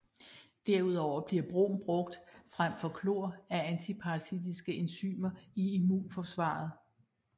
Derudover bliver brom brugt frem for chlor af antiparasitiske enzymer i immunforsvaret